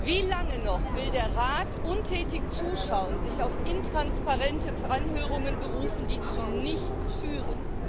Wie lange noch will der Rat untätig zuschauen und sich auf intransparente Anhörungen berufen, die zu nichts führen?